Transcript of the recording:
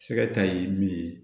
Sɛgɛ ta ye min ye